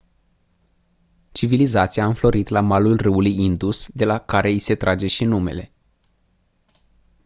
civilizația a înflorit la malul râului indus de la care i se trage și numele